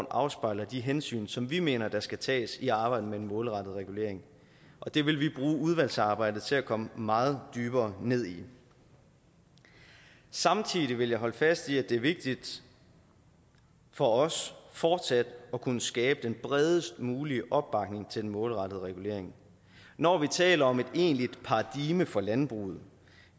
afspejler de hensyn som vi mener der skal tages i arbejdet med en målrettet regulering og det vil vi bruge udvalgsarbejdet til at komme meget dybere ned i samtidig vil jeg holde fast i at det er vigtigt for os fortsat at kunne skabe den bredest mulige opbakning til den målrettede regulering når vi taler om et egentligt paradigme for landbruget